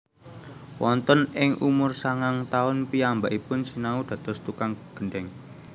Wonten ing umur sangang taun piyambakipun sinau dados tukang gendheng